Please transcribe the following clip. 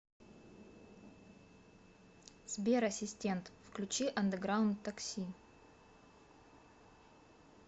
сбер ассистент включи андеграунд такси